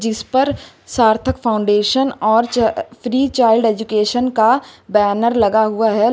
इस पर सार्थक फाउंडेशन और फ्री चाइल्ड एज्युकेशन का बैनर लगा हुआ है।